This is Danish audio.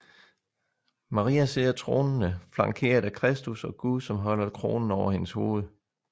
Maria sidder tronende flankeret af Kristus og Gud som holder kronen over hendes hoved